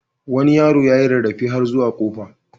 Wani yaro ya yi rarrafe har zuwa kofa.